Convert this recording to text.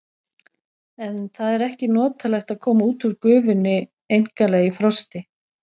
En það er ekki notalegt að koma út úr gufunni einkanlega í frosti.